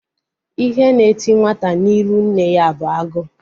Ihe na eti nwata n'iru nne ya bụ agụụ